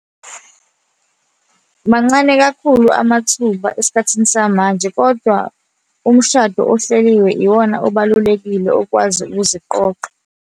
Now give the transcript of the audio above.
Mancane kakhulu amathuba esikhathini samanje, kodwa umshado ohleliwe iwona obalulekile okwazi ukuziqoqa.